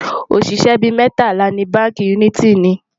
oṣiṣẹ bí mẹtala ní bánkì uniti ní